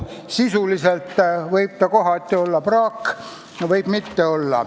Sisuliselt võib ta kohati olla praak, aga võib ka mitte olla.